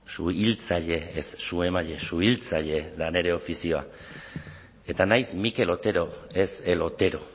suhiltzaile ez su emaile suhiltzaile da nire ofizioa eta naiz mikel otero ez el otero